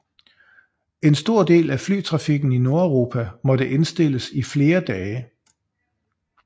En stor del af flytrafikken i Nordeuropa måtte indstilles i flere dage